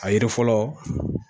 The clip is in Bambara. A yiri fɔlɔ